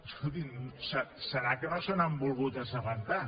deu ser que no se n’han volgut assabentar